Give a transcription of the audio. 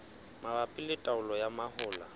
mabapi le taolo ya mahola